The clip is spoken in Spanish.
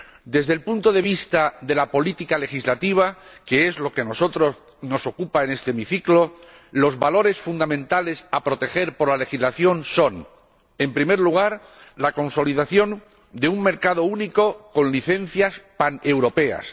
Desde el punto de vista de la política legislativa, que es lo que a nosotros nos ocupa en este hemiciclo, los valores fundamentales que debe proteger la legislación son en primer lugar, la consolidación de un mercado único con licencias paneuropeas